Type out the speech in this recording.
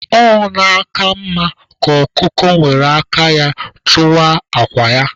Ọ na-aka mma ka ọkụkọ were aka ya tụwaa akwa ya.